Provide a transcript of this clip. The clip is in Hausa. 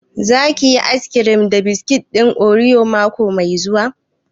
Za ki yi ayis kirim da biskit ɗin oriyo mako mai zuwa?